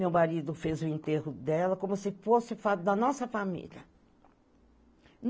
Meu marido fez o enterro dela, como se fosse da nossa família.